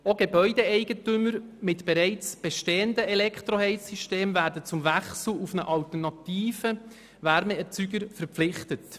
Auch Gebäudeeigentümer mit bereits bestehenden Elektroheizsystemen werden zum Wechsel auf einen alternativen Wärmeerzeuger verpflichtet.